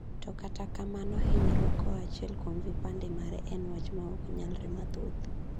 "To kata kamano, hinyruok koa achiel kuom vipande mare en wach ma oknyalre mathoth.